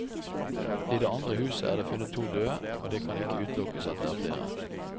I det andre huset er det funnet to døde, og det kan ikke utelukkes at det er flere.